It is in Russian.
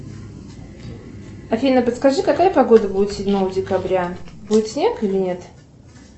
афина подскажи какая погода будет седьмого декабря будет снег или нет